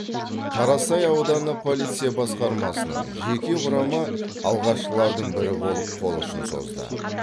қарасай ауданы полиция басқармасының жеке құрамы алғашқылардың бірі болып қол ұшын созды